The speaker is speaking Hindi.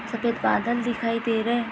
सफेद बादल दिखाई दे रहे हे।